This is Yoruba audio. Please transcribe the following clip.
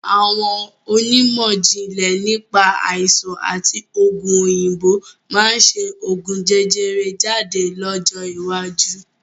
Àwọn onímọ̀jìnlẹ̀ nípa Àìsàn àti ogún òyìnbó máa ṣe ogún jẹjẹrẹ jáde lọ́jọ́ iwájú